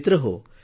मित्रहो